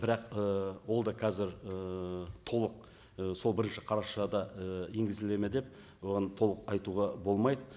бірақ і ол да қазір ііі толық і сол бірінші қарашада і енгізіледі ме деп оған толық айтуға болмайды